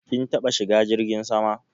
Kin taba shigan jirgin sama?